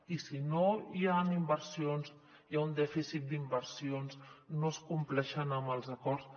i si no hi han inversions hi ha un dèficit d’inversions no es compleix amb els acords